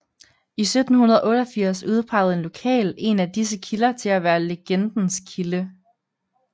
I 1788 udpegede en lokal en af disse kilder til at være legendens kilde